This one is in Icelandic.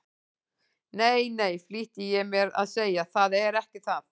Nei, nei, flýtti ég mér að segja, það er ekki það.